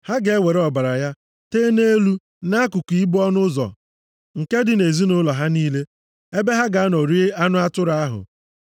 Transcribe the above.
Ha ga-ewere ọbara ya tee nʼelu na nʼakụkụ ibo ọnụ ụzọ nke dị nʼezinaụlọ ha niile, ebe ha ga-anọ rie anụ atụrụ ahụ.